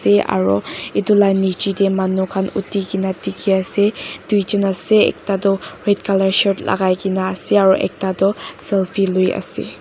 ey aro itula nichetey manu khan uthikena dikhi ase duijun ase ekta toh red color shirt lagaikena ase aro ekta toh selfie lui ase.